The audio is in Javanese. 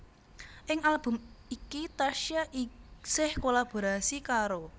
Ing album iki Tasya isih kolaborasi karo